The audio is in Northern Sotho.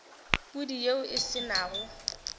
pudi yeo e se nago